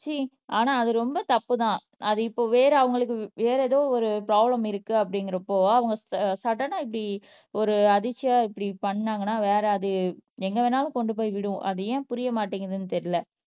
ச்சீ ஆனா அது ரொம்ப தப்பு தான் அது இப்போ வேற அவங்களுக்கு வேற ஏதோ ஒரு ப்ரோப்லேம் இருக்கு அப்படிங்கிறப்போ அவங்க ச சடனா இப்படி ஒரு அதிர்ச்சியா இப்படி பண்ணாங்கன்னா வேற அது எங்க வேணாலும் கொண்டு போய் விடும் அது ஏன் புரிய மாட்டேங்குதுன்னு தெரியலே